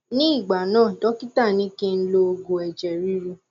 ní ìgbà náà dọkítà ní kí n lo òògù ẹjẹ ríru